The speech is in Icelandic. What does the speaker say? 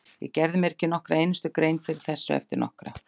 Ég gerði mér ekki nokkra einustu grein fyrir þessu, ekki nokkra!